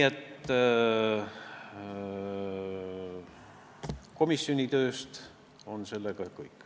Komisjoni töö kohta on see kõik.